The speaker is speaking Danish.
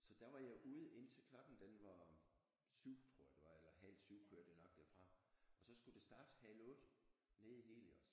Så der var jeg ude indtil klokken den var 7 tror jeg det var eller halv 7 kørte jeg nok derfra og så skulle det starte halv 8 nede i Helios